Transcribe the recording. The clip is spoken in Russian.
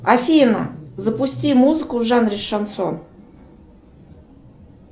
афина запусти музыку в жанре шансон